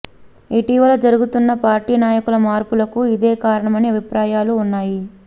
ఇటీవల జరుగుతున్న పార్టీ నాయకుల మార్పులకు ఇదే కారణమనే అభిప్రాయాలూ ఉన్నాయి